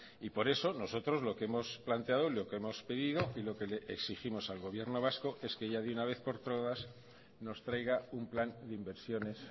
y por eso nosotros lo que hemos planteado y lo que hemos pedido y lo que le exigimos al gobierno vasco es que ya de una vez por todas nos traiga un plan de inversiones